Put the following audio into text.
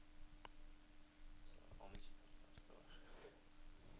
397